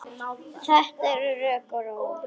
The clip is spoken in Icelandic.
Þetta er rokk og ról.